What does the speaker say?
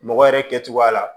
Mɔgɔ yɛrɛ kɛcogoya la